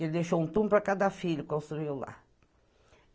Ele deixou um túmulo para cada filho, construiu lá.